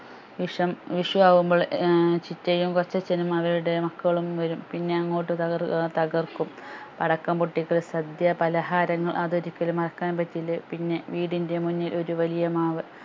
വിഷം വിഷു ആകുമ്പോൾ ഏർ ചിറ്റയും കൊച്ചച്ഛനും അവരുടെ മക്കളും വരും പിന്നെ അങ്ങോട്ട് തകർ ഏർ തകർക്കും പടക്കം പൊട്ടിക്കൽ സദ്യ പലഹാരങ്ങൾ അത് ഒരിക്കലും മറക്കാൻ പറ്റില്ല പിന്നെ വീടിൻ്റെ മുന്നിൽ ഒരു വലിയ മാവ്